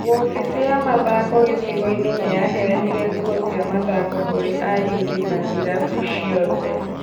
Wobici ya mathako gĩcigo-inĩ nĩyaheanire nguo cia mathako kũri ayuthi a īrabu ciothe